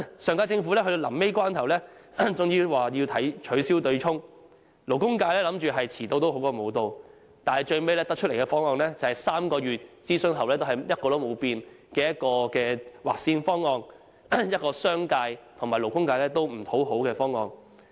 上屆政府在最後關頭終於表示取消對沖機制，勞工界以為"遲到好過無到"，但最後提出的方案，是經3個月諮詢後仍一成不變的劃線方案，一個商界和勞工界也不討好的方案。